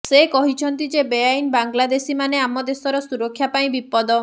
ସେ କହିଛନ୍ତି ଯେ ବେଆଇନ ବାଂଲଦେଶୀମାନେ ଆମ ଦେଶର ସୁରକ୍ଷା ପାଇଁ ବିପଦ